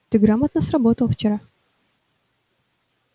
ты грамотно сработал вчера